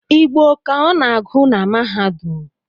Igbo ka ọ na-agụ na mahadum